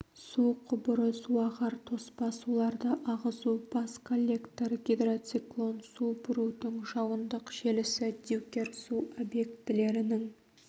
су құбыры суағар тоспа суларды ағызу бас коллектор гидроциклон су бұрудың жауындық желісі дюкер су объектілерінің